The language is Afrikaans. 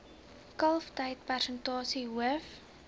kalftyd persentasie hoof